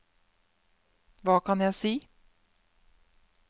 hva kan jeg si